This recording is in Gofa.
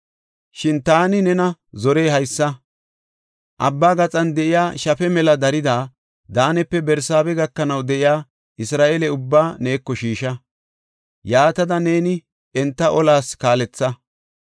“Shin taani nena zorey haysa; abba gaxan de7iya shafe mela darida, Daanepe Barsaabe gakanaw de7iya Isra7eele ubbaa neeko shiisha; yaatada neeni enta olas kaaletha.